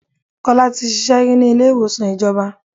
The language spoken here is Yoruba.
2. Kọ́lá tí ṣíṣe rí ní ilé ìwòsàn ìjọba.